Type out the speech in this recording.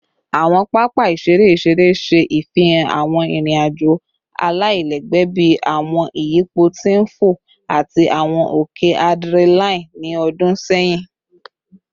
Awọn papa iṣere iṣere ṣe ifihan awọn irin-ajo alailẹgbẹ bii awọn iyipo ti n fo ati awọn oke adrenaline ni ọdun sẹyin